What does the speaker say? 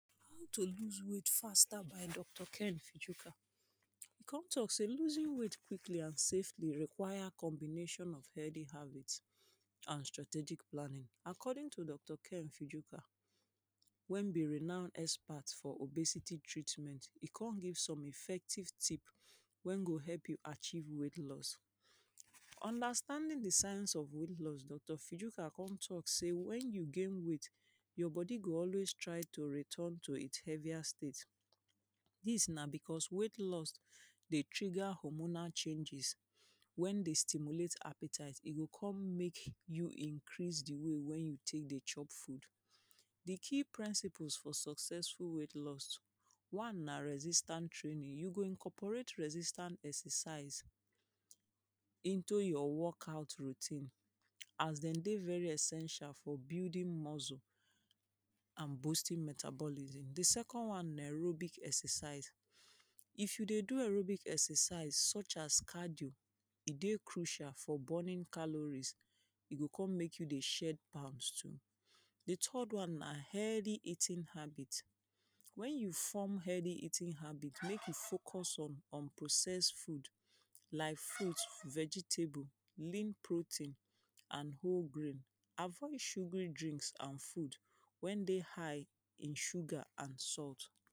To lose weight faster by Doctor Ken Fijoka. E con talk say losing weight quickly and safely require combination of healthy habit and strategic planning. According to Doctor Ken Fijoka when be renown expert for obesity treatment. E con give some effective tip wey go help you achieve weight lose. Understanding the science of weight lose, Doctor Fijika con talk say when you gain weight your body go always try to return to its heavier state. Dis na because weight lose dey trigger homonal changes. When they stimulate hypertite, e go make you increase the way wey you take dey chop food. The key principles for successful weight lose. One na resistance training. You go incorporate resistant exercise into your walk-out routine as dem dey very essential for building muscle and boosting metabolism. The second one na aerobic exercise. If you dey do aerobic exercise such as kajol, e dey crucial for burning calories. E go con make you dey shake palms too. The third one na healthy eating habit. When you form healthy eating habit, make you focus on, unprocess food like fruit, vegetable lim protein and whole grain. Avoid sugary drinks and food when dey high in sugar and salt.